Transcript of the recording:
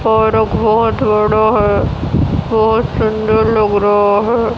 बहुत बड़ा है बहुत सुंदर लग रहा है।